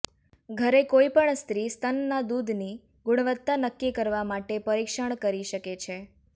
ઘરે કોઈપણ સ્ત્રી સ્તનના દૂધની ગુણવત્તા નક્કી કરવા માટે પરીક્ષણ કરી શકે છે